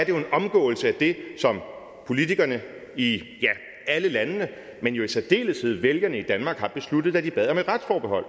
jo en omgåelse af det som politikerne i alle landene men i særdeleshed vælgerne i danmark har besluttet da de bad om et retsforbehold